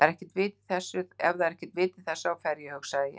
Ef það er ekkert vit í þessu þá fer ég, hugsaði ég.